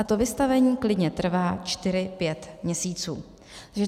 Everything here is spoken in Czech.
A to vystavení klidně trvá čtyři, pět měsíců.